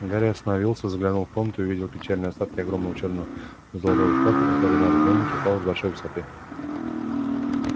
гарри остановился заглянул в комнату и увидел печальные остатки огромного чёрно-золотого шкафа который надо думать упал с большой высоты